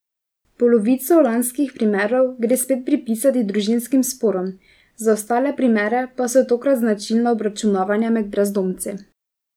Polovico lanskih primerov gre spet pripisati družinskim sporom, za ostale primere pa so tokrat značilna obračunavanja med brezdomci.